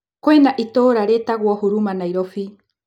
Kwĩna itũra rĩtagũo huruma Nairobi.